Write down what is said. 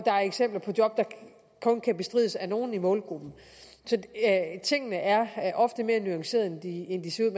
er eksempler på job der kun kan bestrides af nogle i målgruppen så tingene er ofte mere nuancerede end de ser